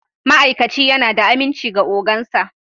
Ma'aikaci yana da aminci ga ogan sa